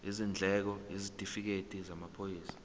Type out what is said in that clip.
izindleko isitifikedi samaphoyisa